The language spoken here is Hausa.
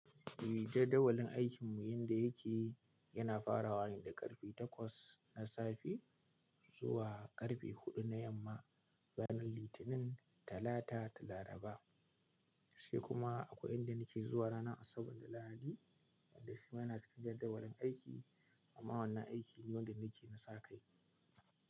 Ni jadawalin aikinmu yanda yake yana farawa ne da karfe takwas na safe zuwa karfe huɗu na yamma, ranar Litinin, Talata da Laraba. Sai kuma akwai yanda nake zuwa ranar Asabar da Lahadi, wanda shi ma yana cikin jadawalin aiki, amma wannan aiki ne wanda nake na sa kai.